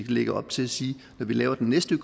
lægger op til at sige når vi laver den næste